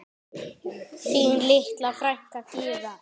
Þín litla frænka Gyða.